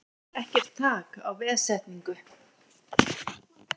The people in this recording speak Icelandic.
Ekkert þak á veðsetningu